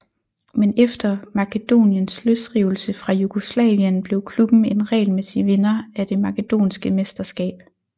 Men efter Makedoniens løsrivelse fra Jugoslavien blev klubben en regelmæssig vinder af det makedonske mesterskab